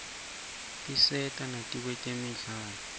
tisata nakutemidlalo